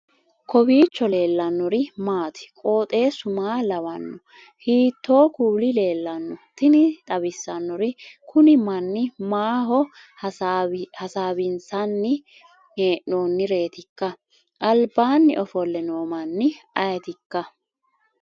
kowiicho leellannori maati ? qooxeessu maa lawaanno ? hiitoo kuuli leellanno ? tini xawissannori kuni manni maaho hasaawinsanni hee'noonnireetikka albaanni ofolle noo manni ayetikka